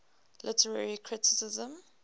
literary criticism